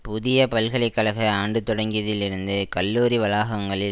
புதிய பல்கலை கழக ஆண்டு தொடங்கியதில் இருந்து கல்லூரி வளாகங்களில்